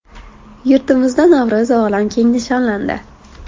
Yurtimizda Navro‘zi olam keng nishonlandi.